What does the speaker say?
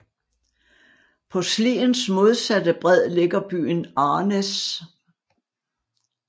På Sliens modsatte bred ligger byen Arnæs